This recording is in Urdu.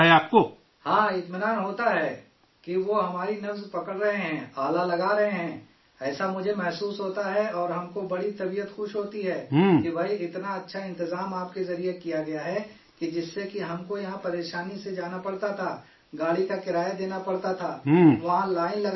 ہاں، اطمینان ہوتا ہے کہ وہ ہماری نبض پکڑ رہے ہیں، آلہ لگا رہے ہیں، ایسا مجھے محسوس ہوتا ہے اور ہم کو بڑا طبیعت خوش ہوتا ہے کہ بھئی اتنا اچھا نظام آپ کے ذریعے بنایا گیا ہے کہ جس سے کہ ہم کو یہاں پریشانی سے جانا پڑتا تھا، گاڑی کا کرایہ دینا پڑتا تھا، وہاں لائن لگانا پڑتا تھا